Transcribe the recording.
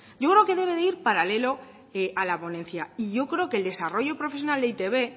yo creo que debe de ir paralelo a la ponencia y yo creo que el desarrollo profesional de e i te be